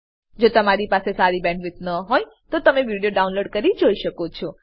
જો તમારી પાસે સારી બેન્ડવિડ્થ ન હોય તો તમે વિડીયો ડાઉનલોડ કરીને જોઈ શકો છો